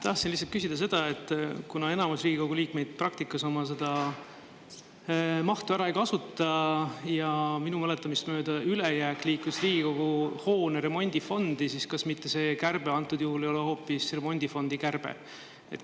Tahtsin lihtsalt küsida seda: kuna enamus Riigikogu liikmeid praktikas oma mahtu ära ei kasuta ja minu mäletamist mööda liikus ülejääk Riigikogu hoone remondifondi, siis kas see kärbe antud juhul ei ole hoopis remondifondi kärbe?